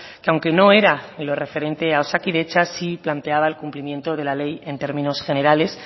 que aunque no era en lo referente a osakidetza sí planteaba el cumplimiento de la ley en términos generales